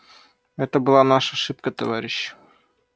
это была наша ошибка товарищи